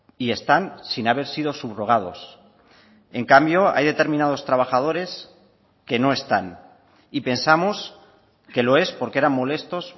y están sin haber sido subrogados en cambio hay determinados trabajadores que no están y pensamos que lo es porque eran molestos